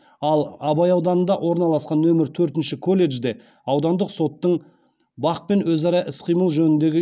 ал абай ауданында орналасқан нөмір төртінші колледжде аудандық соттың бақ пен өзара іс қимыл жөніндегі